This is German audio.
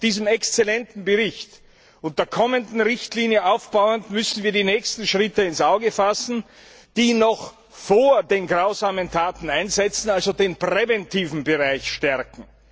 Auf diesem exzellenten Bericht und auf der kommenden Richtlinie aufbauend, müssen wir die nächsten Schritte ins Auge fassen und sie noch vor den grausamen Taten einsetzen, also den präventiven Bereich stärken.